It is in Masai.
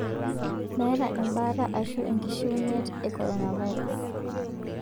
Meeta ebaata aashu enkishiunyet e korona virus